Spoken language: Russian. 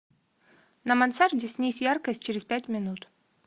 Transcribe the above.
на мансарде снизь яркость через пять минут